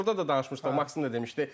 Burda da danışmışdı, Maksim də demişdi.